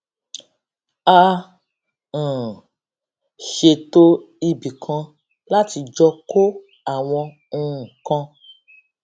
a um ṣètò ibìkan láti jọ kó àwọn nǹkan